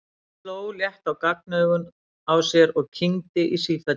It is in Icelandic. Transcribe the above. Hún sló létt á gagnaugun á sér og kyngdi í sífellu.